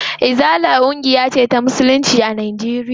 Izala ƙungiya ce ta musulunci a Najeriya.